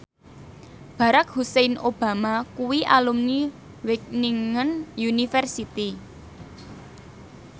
Barack Hussein Obama kuwi alumni Wageningen University